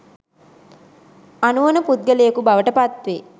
අනුවණ පුද්ගලයෙකු බවට පත් වේ